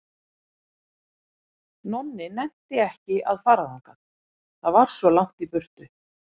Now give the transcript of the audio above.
Nonni nennti ekki að fara þangað, það var svo langt í burtu.